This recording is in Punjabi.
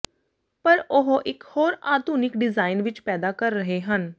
ਪਰ ਉਹ ਇੱਕ ਹੋਰ ਆਧੁਨਿਕ ਡਿਜ਼ਾਇਨ ਵਿੱਚ ਪੈਦਾ ਕਰ ਰਹੇ ਹਨ